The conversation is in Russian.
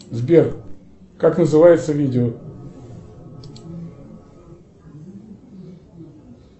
сбер как называется видео